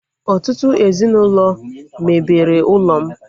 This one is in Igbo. Ọtụtụ ezinaụlọ mebere ụlọ m